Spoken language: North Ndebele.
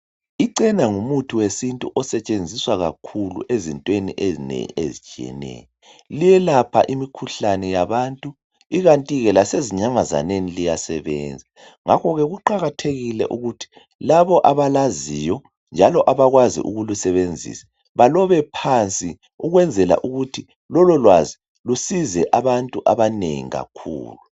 Icena ngumuthi wesintu osetshenziswa kakhulu ezintweni ezinengi ezitshiyeneyo. Liyelapha imikhuhlane yabantu ikanti ke lasezinyamazaneni liyasebenza ngakho ke kuqakathekile ukuthi labo abalaziyo njalo abakwazi ukulisebenzisa balobe phansi ukwenzela ukuthi lololwazi lusize abantu abanengi kakhulu.